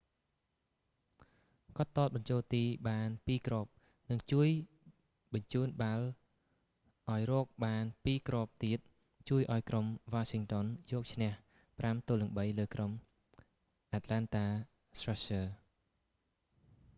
គាត់ទាត់បញ្ចូលទីបាន 2 គ្រាប់ និងជួយបញ្ជូនបាល់ឲ្យរកបាន 2 គ្រាប់ទៀត ជួយឱ្យក្រុម washington យកឈ្នះ 5-3 លើក្រុម atlanta thrashers